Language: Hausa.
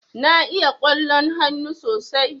Na iya ƙwallon hannu sosai.